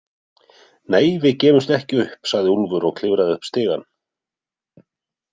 Nei, við gefumst ekki upp, sagði Úlfur og klifraði upp stigann.